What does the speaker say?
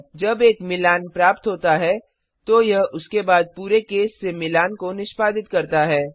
जब एक मिलान प्राप्त होता है तो यह उसके बाद पूरे केस से मिलान को निष्पादित करता है